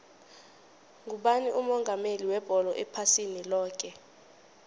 ngubani umongameli webholo ephasini loke